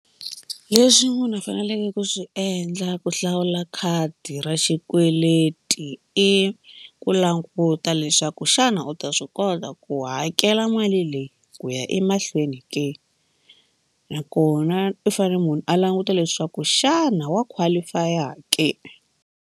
Leswi munhu a faneleke ku swi endla ku hlawula khadi ra xikweleti i ku languta leswaku xana u ta swi kota ku hakela mali leyi ku ya emahlweni ke nakona u fanele munhu a languta leswaku xana wa qualify ke.